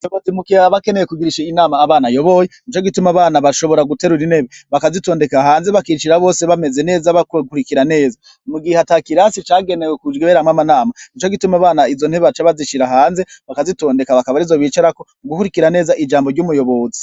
Umuyobozi iyo aba akeneye kugirisha inama abana ayoboye nico gituma abana bashobora guterura intebe bakazitondeka hanze bakicara bose bameze neza bariko bakurikira neza mu gihe ata kirasi cagenewe kuberamwo amanama nico gituma abana izo ntebe baca bazishira hanze bakazitondeka bakaba arizo bicarako mu gukurikira neza ijambo ry'umuyobozi.